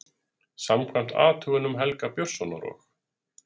Samkvæmt athugunum Helga Björnssonar og